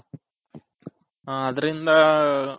ಅದರಿಂದ ಹ